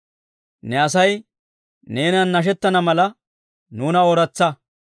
Ne Asay neenan nashettana mala, nuuna ooratsa.